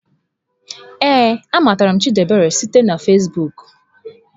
Ee, a matara m Chidiebere site na Fezbuuku.